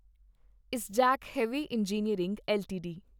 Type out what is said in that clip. ISGEC heavy engineering LTD